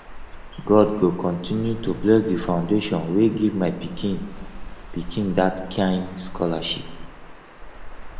god go continue to bless the foundation wey give my pikin pikin dat kin scholarship